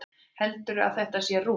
Heldurðu að þetta sé rúm?